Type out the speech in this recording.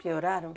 Pioraram?